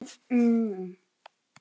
Kolla og